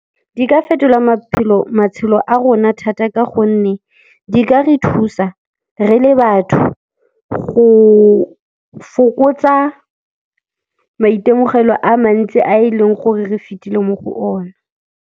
Di ka fetola matshelo a rona thata ka gonne di ka re thusa re le batho go fokotsa maitemogelo a mantsi a e leng gore re fetile mo go ona.